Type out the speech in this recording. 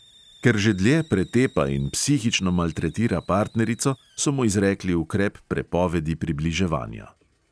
Ker že dlje pretepa in psihično maltretira partnerico, so mu izrekli ukrep prepovedi približevanja.